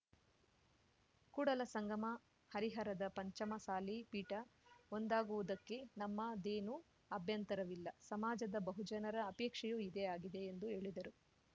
ಕೂಡಲಸಂಗಮ ಹರಿಹರದ ಪಂಚಮಸಾಲಿ ಪೀಠ ಒಂದಾಗುವುದಕ್ಕೆ ನಮ್ಮದೇನೂ ಅಭ್ಯಂತರವಿಲ್ಲ ಸಮಾಜದ ಬಹುಜನರ ಅಪೇಕ್ಷೆಯೂ ಇದೇ ಆಗಿದೆ ಎಂದು ಹೇಳಿದರು